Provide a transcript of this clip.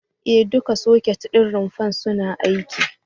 E, duka soket ɗin rumfar suna aiki.